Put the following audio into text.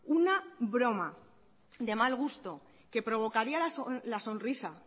una broma de mal gusto que provocaría la sonrisa